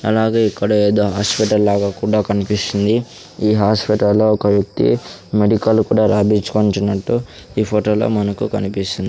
అలాగే ఇక్కడ ఏదో హాస్పిటల్ లాగా కూడా కనిపిస్తుంది ఈ హాస్పిటలొ ఒక వ్యక్తి మెడికల్ కూడా రాపించుకుంటున్నట్టు ఈ ఫోటో లో మనకు కనిపిస్తుంది.